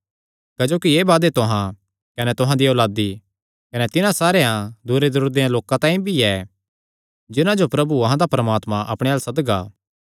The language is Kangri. क्जोकि एह़ वादे तुहां कने तुहां दियां औलादी कने तिन्हां सारेयां दूरेदूरे देयां लोकां तांई भी ऐ जिन्हां जो प्रभु अहां दा परमात्मा अपणे अल्ल सदगा